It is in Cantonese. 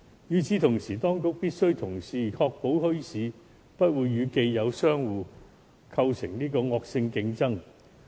與此同時，當局必須確保墟市不會與既有商戶構成惡性競爭。